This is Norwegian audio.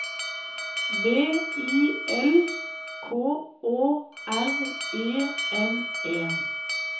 V I L K Å R E N E